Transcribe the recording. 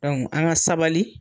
an ga sabali